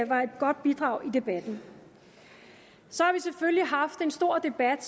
var et godt bidrag i debatten så har vi selvfølgelig haft en stor debat